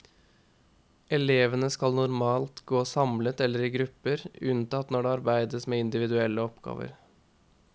Elevene skal normalt gå samlet eller i grupper, unntatt når det arbeides med individuelle oppgaver.